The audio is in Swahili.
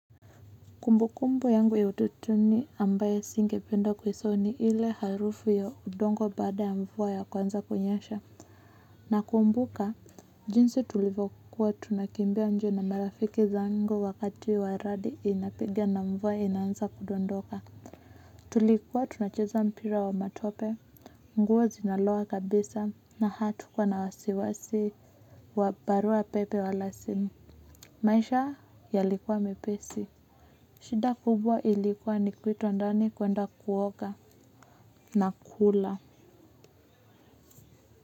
Kumbukumbu yangu ya utotoni ambaye singependa kuisao ni ile harufu ya udongo baada ya mvua ya kwanza kunyesha. Nakumbuka, jinsi tulivokuwa tunakimbia nje na marafiki zango wakati wa radi inapiga na mvua inaanza kudondoka. Tulikuwa tunacheza mpira wa matope, nguo zinaloa kabisa na hatukuwa na wasiwasi wa barua pepe wala simu. Maisha yalikuwa mepesi. Shida kubwa ilikuwa ni kuitwa ndani kuenda kuoga na kula.